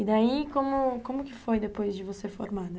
E daí, como como que foi depois de você formada?